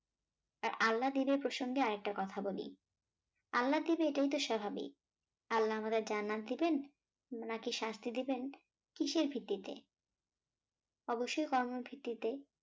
আল্লাদিবে প্রসঙ্গে আরেকটা কথা বলি আল্লাহ দিবে এটাই তো স্বাভাবিক আল্লাহ আমাদের জান্নাত দিবেন নাকি শাস্তি দিবেন কিসের ভিত্তিতে অবশ্যই কর্মের ভিত্তিতে